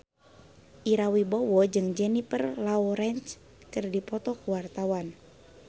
Ira Wibowo jeung Jennifer Lawrence keur dipoto ku wartawan